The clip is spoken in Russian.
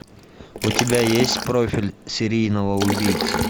у тебя есть профиль серийного убийцы